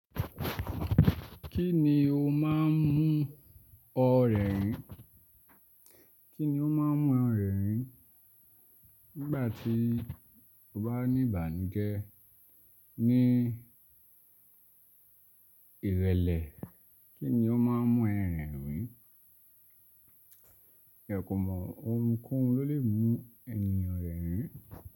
Kí ni o má a ń mú ọ rẹ́rìn? Kí ni o má a ń mú ọ rẹ́rìn? Nígbà tí o bá ní ìbànújẹ́ ní ìrẹ̀lẹ̀, kí ni o má a ń mú ẹ rẹ́rìn? Ẹ kò mọ ohun kóhun ló lè mú ènìyàn rẹ́rìn.